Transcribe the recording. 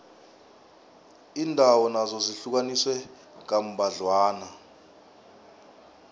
iindawo nazo zihlukaniswe kambadlwana